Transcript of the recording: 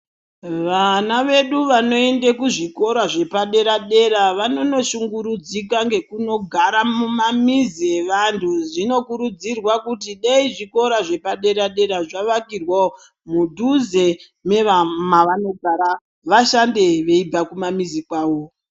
Vana vedu Vanoenda kuzvikora zvepadera dera vanondo shungurudzika neku ndonogara mumamizi evantu zvinokurudzirwa kuti dei zvikora zvepadera dera zvavakirwawo mudhuze memavanogara vashande veibva kumamizi kwavo.